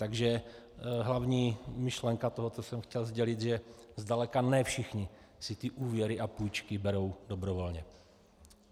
Takže hlavní myšlenka toho, co jsem chtěl sdělit, že zdaleka ne všichni si ty úvěry a půjčky berou dobrovolně.